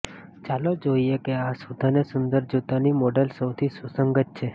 ચાલો જોઈએ કે આ શુદ્ધ અને સુંદર જૂતાની મોડેલ્સ સૌથી સુસંગત છે